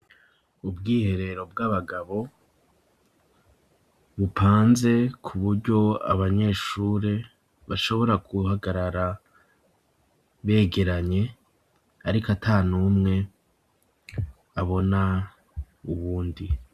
Ubwiherero bw'abagabo, bupanze ku buryo abanyeshure, bashobora guhagarara begeranye, ariko ata n'umwe abona uwundi.